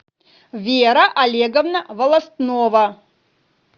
вера олеговна волостнова